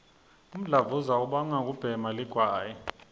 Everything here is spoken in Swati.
umdlavuza ubangwa kubhema ligwayi